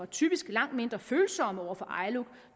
typisk langt mindre følsomme over for iluc